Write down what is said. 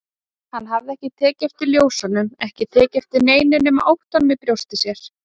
Hann hafði ekki tekið eftir ljósunum, ekki tekið eftir neinu nema óttanum í brjósti sér.